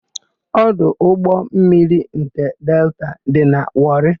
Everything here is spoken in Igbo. Ọdụ ụgbọmmiri nke Delta dị na Wọrị.